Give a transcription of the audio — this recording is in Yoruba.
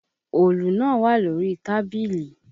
Òòlù náà wà lórí tábìlì.